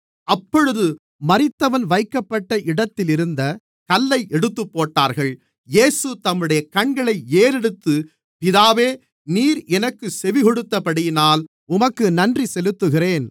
அப்பொழுது மரித்தவன் வைக்கப்பட்ட இடத்திலிருந்த கல்லை எடுத்துப்போட்டார்கள் இயேசு தம்முடைய கண்களை ஏறெடுத்து பிதாவே நீர் எனக்குச் செவிகொடுத்தபடியினால் உமக்கு நன்றி செலுத்துகிறேன்